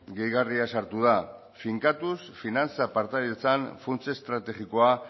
gehigarria sartu da finkatuz finantza partaidetzan funts estrategikoa